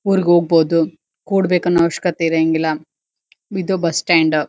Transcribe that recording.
ಊರಿಗ್ ಹೋಗಬಹುದು ಕೂಡಬೇಕ ಅನ್ನೋ ಅವಶ್ಯಕತೆ ಇರಗಿಲ್ಲಾ ಇದು ಬಸ್ ಸ್ಟಾಂಡ್ --